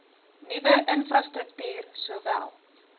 nuwe infrastruktuur sowel